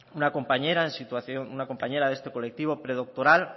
una compañera en situación una compañera de este colectivo predoctoral